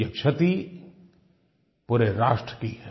ये क्षति पूरे राष्ट्र की है